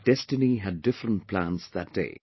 But destiny had different plans that day